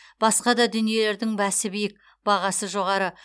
басқа да дүниелердің бәсі биік бағасы жоғары